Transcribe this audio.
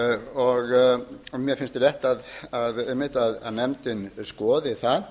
og mér finnst rétt einmitt að nefndin skoði það